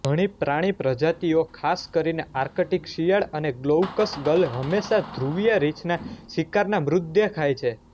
ઘણી પ્રાણી પ્રજાતિઓખાસ કરીને આર્ક્ટિક શિયાળ અને ગ્લોઉકસ ગલહંમેશા ધ્રુવીય રીંછનાં શિકારના મૃતદેહ ખાય છે